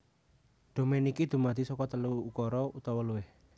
Domain iki dumadi saka telu ukara utawa luwih